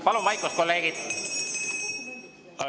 Palun vaikust, kolleegid!